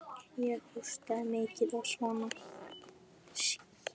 Ég hóstaði mikið og svona.